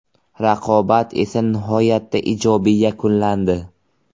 Raqobat esa nihoyatda ijobiy yakunlandi.